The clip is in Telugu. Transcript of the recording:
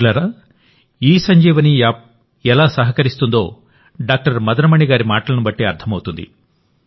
మిత్రులారా ఇసంజీవని యాప్ ఎలా సహకరిస్తుందో డాక్టర్ మదన్ మణి గారి మాటలను బట్టి అర్థమవుతుంది